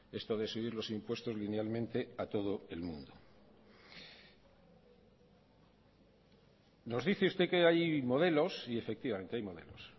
esto de subir los impuestos linealmente a todo el mundo nos dice usted que hay modelos y efectivamente hay modelos